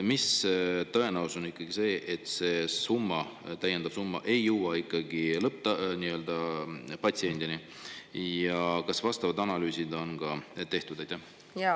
Milline on tõenäosus, et see summa, täiendav summa, ei jõua patsiendini, ja kas vastavad analüüsid on ka tehtud?